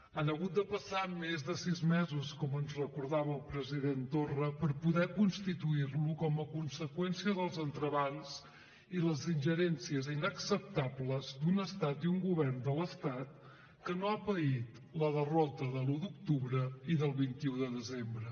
han hagut de passar més de sis mesos com ens recordava el president torra per poder constituir lo com a conseqüència dels entrebancs i les ingerències inacceptables d’un estat i un govern de l’estat que no ha paït la derrota de l’un d’octubre i del vint un de desembre